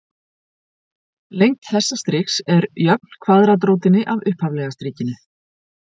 lengd þessa striks er jöfn kvaðratrótinni af upphaflega strikinu